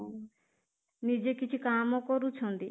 ନିଜେ କିଛି କାମ କରୁଛନ୍ତି